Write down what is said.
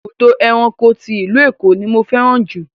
Ibùdó ẹranko ti ìlú Èkó ni mo fẹ́ràn jù.